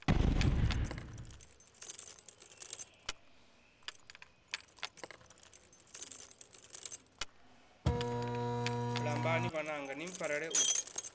lambani vhananga ni mpfarele u